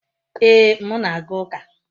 Ee, m na-aga uka